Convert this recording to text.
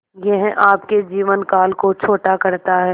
यह आपके जीवन काल को छोटा करता है